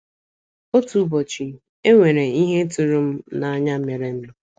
Otu ụbọchị, e nwere ihe tụrụ m n’anya merenụ.